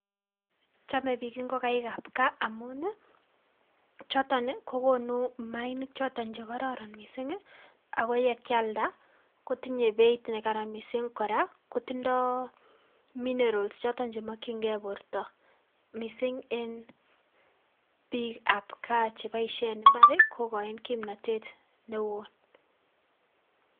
Chamei biik ngokaikab gaa amun choto kokonu mayainik choto che kororon mising ako ye kakialda kotinyei beeit nekaran mising, kora kotindoi minerals choto chemakchinkei borto mising eng biikab gaa chepoishen imbaar kokaain kimnotet neo.